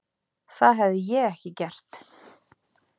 Það hefði ég ekki gert.